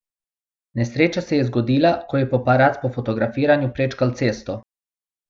Nesreča se je zgodila, ko je paparac po fotografiranju prečkal cesto.